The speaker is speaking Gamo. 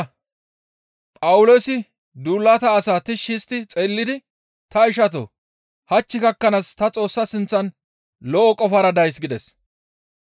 Phawuloosi duulata asaa tishshi histti xeellidi, «Ta ishatoo! Hach gakkanaas ta Xoossa sinththan lo7o qofara days» gides.